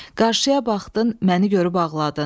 Qarşıya baxdın, məni görüb ağladın.